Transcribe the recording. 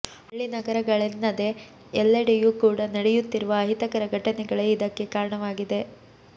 ಹಳ್ಳಿ ನಗರಗಳೆನ್ನದೇ ಎಲ್ಲೆಡೆಯೂ ಕೂಡ ನಡೆಯುತ್ತಿರುವ ಅಹಿತಕರ ಘಟನೆಗಳೇ ಇದಕ್ಕೆ ಕಾರಣವಾಗಿದೆ